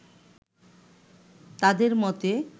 তাঁদের মতে